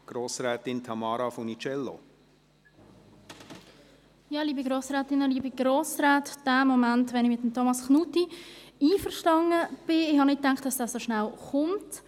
Ich hätte nicht gedacht, dass der Moment, wo ich mit Thomas Knutti einverstanden bin, so rasch kommt.